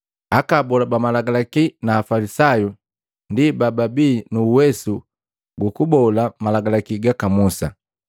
“Aka abola ba Malagalaki na Afalisayu ndi bababi nu uwesu gukubola Malagalaki gaka Musa.